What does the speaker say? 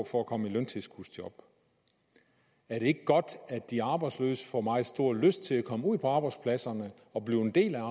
for at komme i løntilskudsjob er det ikke godt at de arbejdsløse får meget stor lyst til at komme ud på arbejdspladserne og blive en